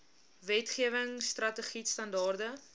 wetgewing strategied standaarde